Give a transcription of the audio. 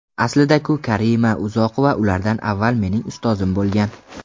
Aslida-ku, Karima Uzoqova ulardan avval mening ustozim bo‘lgan.